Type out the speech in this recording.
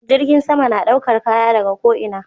Jirgin sama na ɗaukar Kaya daga ko ina